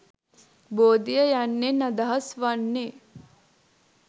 බෝධිය යන්නෙන් අදහස් වන්නේ